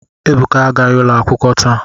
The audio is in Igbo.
Ebuka agaghi olu akwukwo ta.